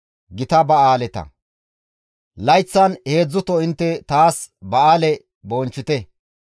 «Layththan heedzdzuto intte taas ba7aale bonchchite.